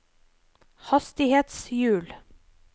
hastighetshjul